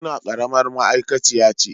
Murna karamar ma'aikaciya ce